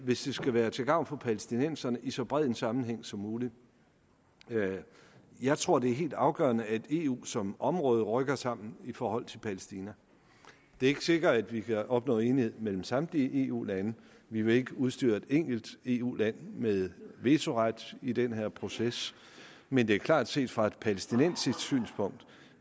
hvis det skal være til gavn for palæstinenserne i så bred en sammenhæng som muligt jeg tror det er helt afgørende at eu som område rykker sammen i forhold til palæstina det er ikke sikkert vi kan opnå enighed mellem samtlige eu lande og vi vil ikke udstyre et enkelt eu land med vetoret i den her proces men det er klart at set fra et palæstinensisk synspunkt